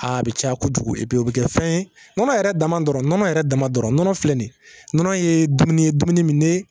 A bi caya kojugu, o bɛ kɛ fɛn ye ,nɔnɔ yɛrɛ dama dɔrɔnw, nɔnɔ yɛrɛ dama dɔrɔn nɔnɔ filɛ nin ye dumuni min ye